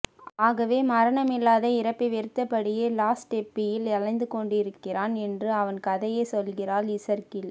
ஆகவே மரணமில்லாத இருப்பை வெறுத்தபடியே லஸ்டெப்பியில் அலைந்து கொண்டிருக்கிறான் என்று அவன் கதையை சொல்கிறாள் இசர்கீல்